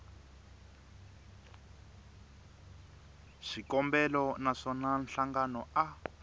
xikombelo na swona nhlangano a